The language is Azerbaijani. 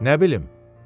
Nə bilim.